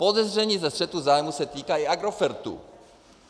Podezření ze střetu zájmů se týká i Agrofertu.